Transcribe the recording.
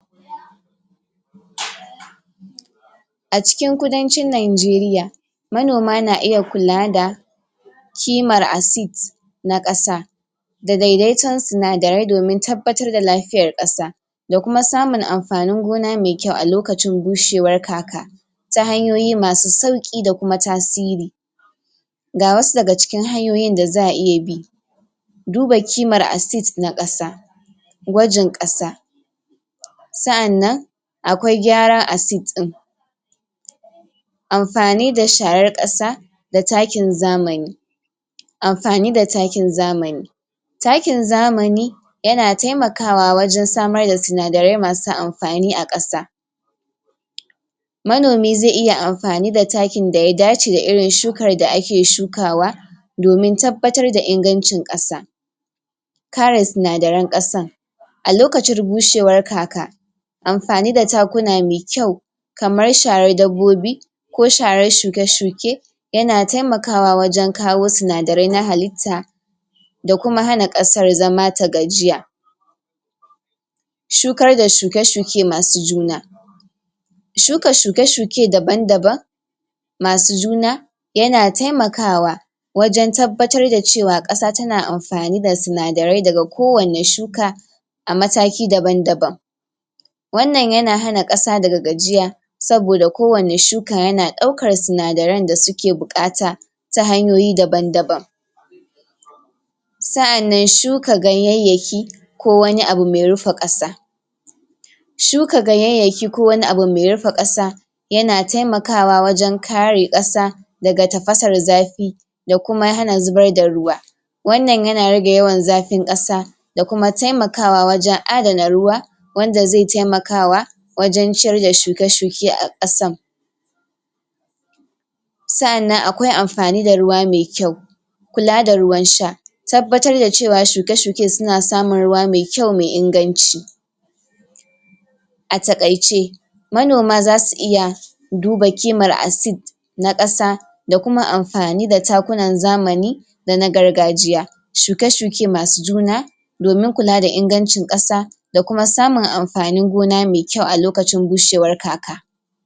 acikin kudancin nigeria manoma na iya kulada kiman acid na ƙasa da daidaito sinadarai domin tabbatar da lafiyan ƙasa dakuma samun anfani gona mai kyau alokacin bushewar kaka ta hanyoyi masu sauki da kuma tasiri ga wasu daga cikin hanyoyi da za'a iya bi duba kiman acid na ƙasa gwagin ƙasa sa'anan akwai gyaran acid din anfani da sharan ƙasa da takin zamani anfani da takin zamani takin zamani yana taimakawa wajan samar da sinadarai masu anfani a ƙasa manomi ze iya anfani da takin da ya dace da irin shukan da ake shukawa domin tabbatar da inganci ƙasa kare sinadaran ƙasan alokacin bushewar kaka anfani da takuna mai kyau kamar sharan dabbobi ko sharan shuke-shuke yan taimaka wajan kawo sinadarai na halita dakuma hana ƙasar zama ta gajiya shukarda shuke_shuke masu juna shuka shuke-shuke daban-daban masu juna yana taimakawa wajan tabbatar da cewa ƙasa tana anfani da sinadarai daga kowani shuka amataki daban-daban wannan yana hana ƙasa daga gajiya saboda kowani shuka yana daukan sinadarain dasuki buƙata tahanyoyi daban-daban sa'anan shuka ganyanyaki ko wani abu mai rufi ƙasa shuka ganyanyaki ko wani abu mai rufi ƙasa yana taimakawa wajan kare ƙasa daga tafasar zafi dakuma hana zubar da ruwa wannan rage yawan zafin ƙasa dakuma taimakawa wajan adana ruwa wanda zai taimakawa wajan shirya shuki-shuki a kasan sa'anan akwai anfani da ruwa mai kyau kula da ruwan sha tabbatar da cewa shuke-shuke suna samun ruwa mai kyau mai inganci a taƙayce manoma zasu iya duba kiman acid na ƙasa dakuma anfani da takunan zamani dana gargajiya shukie-shuke masu juna domin kula da inganci ƙasa da kuma samun anfanin gona mai kyau a lokacin bushewar kaka